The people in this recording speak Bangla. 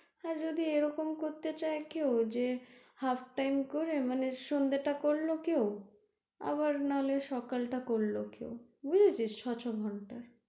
হ্যাঁ যদি এরকম করতে চায় কেউ যে half time করে মানে সন্ধ্যে টা করলো কেউ আবার নাহলে সকাল টা করলো কেউ বুঝেছিস ছয় ছয় ঘন্টা।